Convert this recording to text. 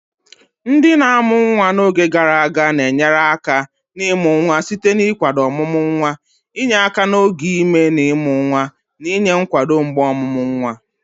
Ndị na-amụ nwa n'oge gara aga na-enyere aka n'ịmụ nwa site n'ịkwado ọmụmụ nwa, inye aka n'oge ime na ịmụ nwa, na inye nkwado mgbe ọmụmụ nwa.